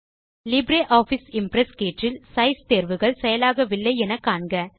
LibreOffice Impress கீற்றில் size தேர்வுகள் செயலாகவில்லை என காண்க